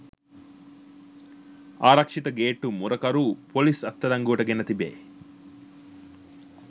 ආරක්ෂිත ගේට්ටු මුරකරු පොලිස් අත්අඩංගුවට ගෙන තිබේ.